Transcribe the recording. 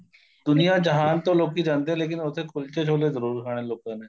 ਦੁਨੀਆਂ ਜਹਾਨ ਤੋਂ ਲੋਕੀ ਜਾਂਦੇ ਏ ਲੇਕਿਨ ਉੱਥੇ ਕੁਲਚੇ ਛੋਲੇ ਜਰੂਰ ਖਾਣੇ ਲੋਕਾਂ ਨੇ